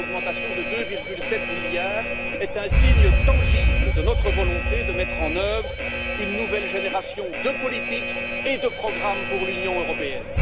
Cette augmentation de 2,7 milliards est un signe tangible de notre volonté de mettre en œuvre une nouvelle génération de politiques et de programmes pour l'Union européenne.